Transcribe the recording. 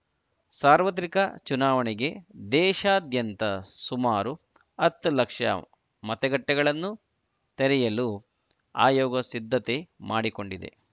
ಸಾರ್ವತ್ರಿಕ ಚುನಾವಣೆಗೆ ದೇಶಾದ್ಯಂತ ಸುಮಾರು ಹತ್ತು ಲಕ್ಷ ಮತಗಟ್ಟೆಗಳನ್ನು ತೆರೆಯಲು ಆಯೋಗ ಸಿದ್ಧತೆ ಮಾಡಿಕೊಂಡಿದೆ